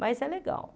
Mas é legal.